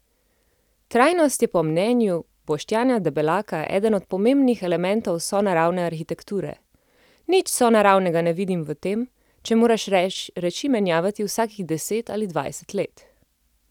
Trajnost je po mnenju Boštjana Debelaka eden od pomembnih elementov sonaravne arhitekture: "Nič sonaravnega ne vidim v tem, če moraš reči menjavati vsakih deset ali dvajset let.